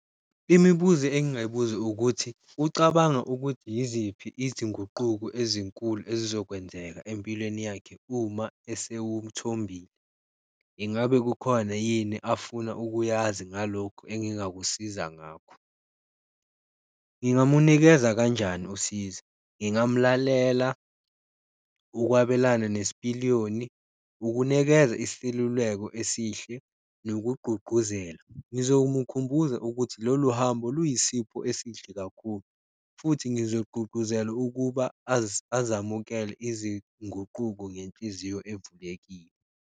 Imibuzo engingayibuza ukuthi, ucabanga ukuthi yiziphi izinguquko ezinkulu ezizokwenzeka empilweni yakhe uma esewuthombile? Ingabe kukhona yini afuna ukuyazi ngalokhu engingakusiza ngakho? Ngingamunikeza kanjani usizo? Ngingamulalela, ukwabelana nesipiliyoni, ukunikeza iseluleko esihle nokugqugquzela. Ngizomukhumbuza ukuthi lolu hambo luyisipho esihle kakhulu, futhi ngizogqugquzela ukuba azamukele izinguquko ngenhliziyo evulekile.